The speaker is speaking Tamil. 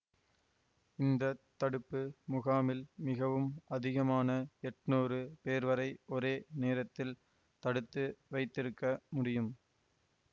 இந்த தடுப்பு முகாமில் மிகவும் அதிகமான எட்ணூறு பேர்வரை ஒரே நேரத்தில் தடுத்து வைத்திருக்க முடியும்